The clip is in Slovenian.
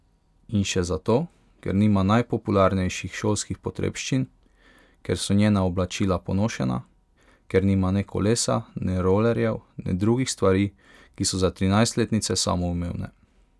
In še zato, ker nima najpopularnejših šolskih potrebščin, ker so njena oblačila ponošena, ker nima ne kolesa ne rolerjev ne drugih stvari, ki so za trinajstletnice samoumevne.